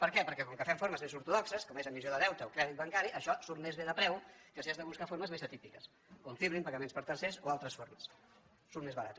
per què perquè com que fem formes més ortodoxes com és emissió de deute o crèdit bancari això surt més bé de preu que si has de buscar formes més atípiques confirming pagaments per tercers o altres formes surt més barat